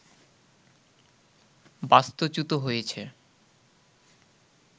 বাস্তু-চ্যুত হয়েছে